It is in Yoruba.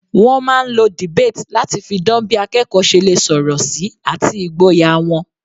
Wọ́n máa ń lo debate láti fi dan bí akẹ́kọ̀ọ́ ṣe lè sọ̀rọ̀ sí àti ìgboyà wọn.